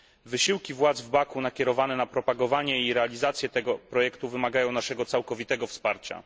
Wysiłki władz Baku, nakierowane na propagowanie i realizację tego projektu, wymagają naszego całkowitego wsparcia.